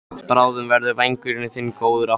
Bráðum verður vængurinn þinn góður aftur.